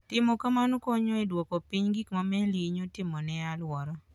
Timo kamano konyo e duoko piny gik ma meli hinyo timo ne alwora.